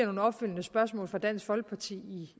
nogle opfølgende spørgsmål fra dansk folkeparti